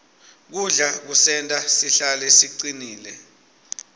kudla kusenta sihlale sicinile